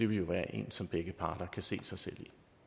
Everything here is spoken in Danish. vil være en som begge parter kan se sig selv